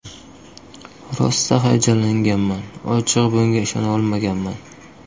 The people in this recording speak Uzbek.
Rosa hayajonlanganman, ochig‘i bunga ishona olmaganman.